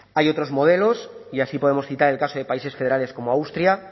hay otros modelos y así podemos citar el caso de países federales como austria